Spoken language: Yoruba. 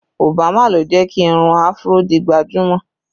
Obama ló jẹ́ kí irun áfúró di gbajúmọ̀